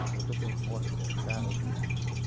eu tenho uma moto, eu tenho um carro, eu tenho isso.